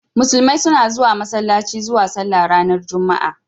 Musulmai suna zuwa Masallaci zuwa sallah ranar juma'a.